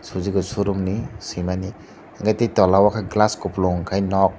suzuki showroom ni swimani hwnkhe tei tola o khe glass kupulung khai nok.